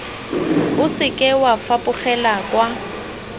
o seke wa fapogela kwa